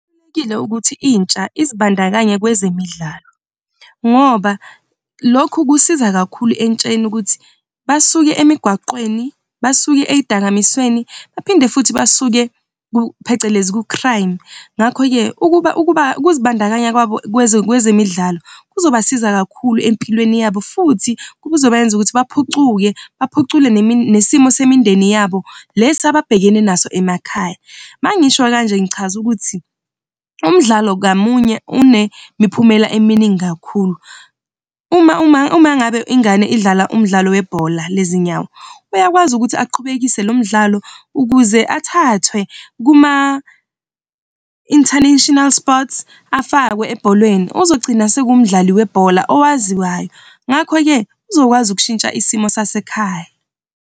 Kubalulekile ukuthi intsha izibandakanya kwezemidlalo, ngoba lokhu kusiza kakhulu entsheni ukuthi basuke emigwaqeni, basuke ey'dakamizweni, baphinde futhi basuke ku phecelezi ku-crime. Ngakho-ke ukuba ukuzibandakanya kwabo kwezemidlalo kuzobasiza kakhulu empilweni yabo futhi kuzobenza ukuthi baphucuke, baphucule nesimo semindeni yabo, lesi ababhekene naso emakhaya. Mangisho kanje ngichaza ukuthi umdlalo ngamunye unemiphumela eminingi kakhulu. Uma ngabe ingane idlala umdlalo webhola lezinyawo uyakwazi ukuthi aqhubekise lo mdlalo ukuze athathwe kuma-International Sports afakwe ebholweni. Uzogcina senguwumdlali webhola owaziwayo, ngakho-ke uzokwazi ukushitsha isimo sasekhaya.